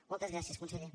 moltes gràcies conseller